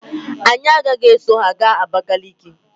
Anyị agaghị eso ha gaa Abakaliki.